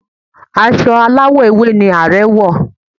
Aṣọ aláwọ̀ ewé ni Ààrẹ̀ wọ̀